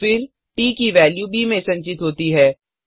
और फिर ट की वेल्यू ब में संचित होती है